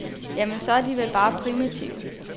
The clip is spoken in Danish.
Jamen, så er de vel bare primitive.